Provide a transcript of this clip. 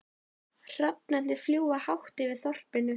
Hrafnarnir fljúga hátt yfir þorpinu.